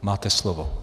Máte slovo.